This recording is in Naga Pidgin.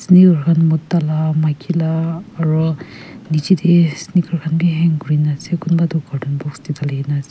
mota la maiki la aro nichey de sneaker khan b hang kuri na ase kumba do carton box de dali gina ase.